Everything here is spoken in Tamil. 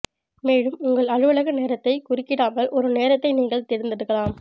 மேலும் உங்கள் அலுவலக நேரத்தைக் குறுக்கிடாமல் ஒரு நேரத்தை நீங்கள் தேர்ந்தெடுக்கலாம்